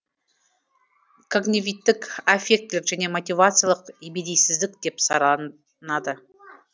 когнивиттік аффектілік және мотивациялық ебедейсіздік деп сараланады